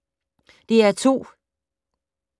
DR2